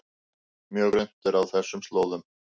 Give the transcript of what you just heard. Mjög grunnt er á þessum slóðum